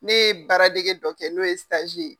Ne ye baaradege dɔ kɛ n'o ye saji ye.